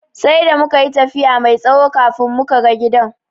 Sai da mukayi tafiya mai tsawo kafin muka ga gidan.